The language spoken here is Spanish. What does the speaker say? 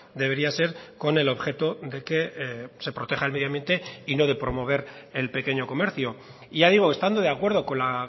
debería ser con el objeto de que se proteja el medio ambiente y no de promover el pequeño comercio y ya digo estando de acuerdo con la